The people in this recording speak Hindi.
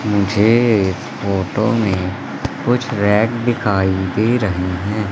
मुझे इस फोटो में कुछ रेड दिखाई दे रही हैं।